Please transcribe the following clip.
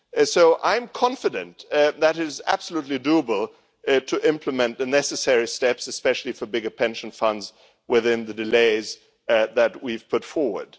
So I am confident that it is absolutely possible to implement the necessary steps, especially for bigger pension funds, within the timeframes that we have put forward.